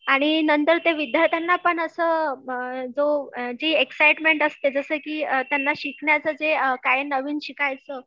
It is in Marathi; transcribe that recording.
आणि नंतर ते विद्यार्थींना पण असं जो जी एक्साईटमेंट असते जसे की त्यांना शिकण्याचं जे काय नवीन शिकायचं